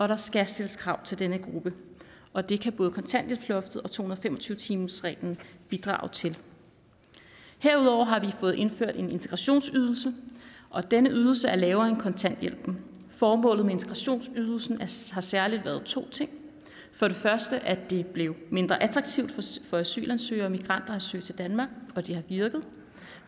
der skal stilles krav til denne gruppe og det kan både kontanthjælpsloftet og to hundrede og fem og tyve timersreglen bidrage til herudover har vi fået indført en integrationsydelse og denne ydelse er lavere end kontanthjælpen formålet med integrationsydelsen har særlig været to ting for det første at det blev mindre attraktivt for asylansøgere og migranter at søge til danmark og det har virket